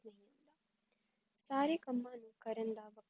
ਸਾਰੇ ਕਮਾਂ ਨੂੰ ਕਰੰਦਾਵਾ